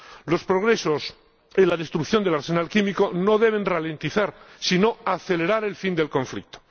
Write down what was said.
Los progresos en la destrucción del arsenal químico no deben ralentizar, sino acelerar el fin del conflicto.